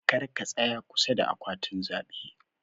karka tsaya kusa da akwatin zabe.